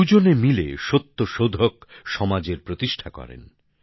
দুজনে মিলে সত্যশোধক সমাজের প্রতিষ্ঠা করেন